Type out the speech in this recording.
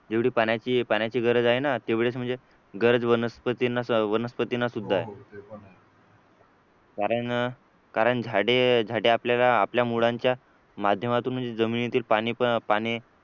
एवढी पाण्याची गरज आहे ना तेवढेच म्हणजे गरज वनस्पतींना वनस्पतींना सुद्धा आहे कारण कारण झाडे झाडे आपल्या मुळांच्या माध्यमातून म्हणजे जमिनीतील पाणी पण पाणी